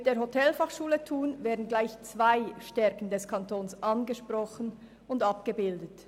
Mit der Hotelfachschule Thun werden gleich zwei Stärken des Kantons angesprochen und abgebildet: